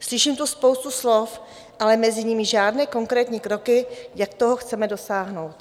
Slyším tu spoustu slov, ale mezi nimi žádné konkrétní kroky, jak toho chceme dosáhnout.